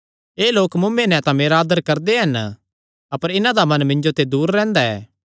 एह़ लोक मुँऐ नैं तां मेरा आदर करदे हन अपर इन्हां दा मन मिन्जो ते दूर रैंह्दा ऐ